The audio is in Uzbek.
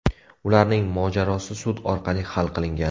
Ularning mojarosi sud orqali hal qilingan.